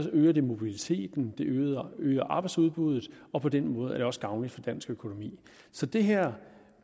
øger det mobiliteten det øger øger arbejdsudbuddet og på den måde er det også gavnligt for dansk økonomi så det her